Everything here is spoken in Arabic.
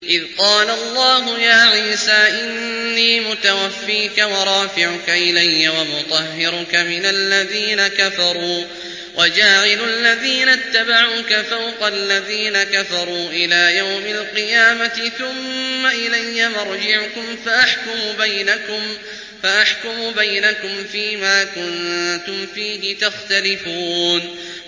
إِذْ قَالَ اللَّهُ يَا عِيسَىٰ إِنِّي مُتَوَفِّيكَ وَرَافِعُكَ إِلَيَّ وَمُطَهِّرُكَ مِنَ الَّذِينَ كَفَرُوا وَجَاعِلُ الَّذِينَ اتَّبَعُوكَ فَوْقَ الَّذِينَ كَفَرُوا إِلَىٰ يَوْمِ الْقِيَامَةِ ۖ ثُمَّ إِلَيَّ مَرْجِعُكُمْ فَأَحْكُمُ بَيْنَكُمْ فِيمَا كُنتُمْ فِيهِ تَخْتَلِفُونَ